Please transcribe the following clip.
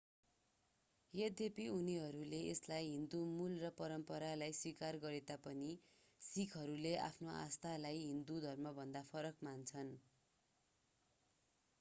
यद्यपि उनीहरूले यसलाई हिन्दु मूल र परम्परालाई स्वीकार गरेता पनि सिखहरूले आफ्नो आस्थालाई हिन्दु धर्मभन्दा फरक मान्छन्